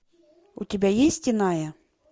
у тебя есть иная